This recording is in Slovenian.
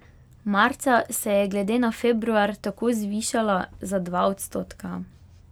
Marca se je glede na februar tako zvišala za dva odstotka.